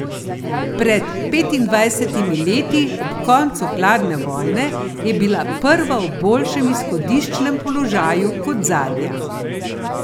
Pred petindvajsetimi leti, ob koncu hladne vojne, je bila prva v boljšem izhodiščnem položaju kot zadnja.